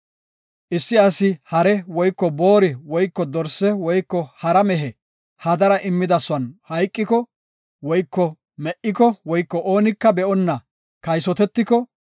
“Issi asi hare woyko boori woyko dorse woyko hara mehe hadara immidasuwan hayqiko woyko me7iko woyko oonika be77onna kaysotetiko,